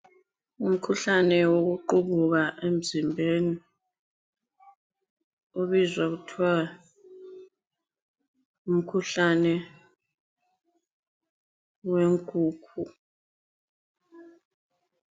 Umkhuhlane wokuqubuka emzimbeni obizwa kuthwa ngumkhuhlane wenkukhu.